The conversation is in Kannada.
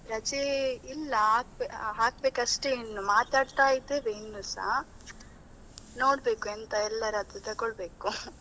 ರಜೆ ಇಲ್ಲ, ಹಾಕ್ ಹಾಕ್ಬೇಕಷ್ಟೆ ಇನ್ನು ಮಾತಾಡ್ತಾ ಇದ್ದೀವಿ ಇನ್ನುಸಾ ನೋಡ್ಬೇಕು ಎಂತ ಎಲ್ಲರದ್ದು ತಗೊಳ್ಬೇಕು .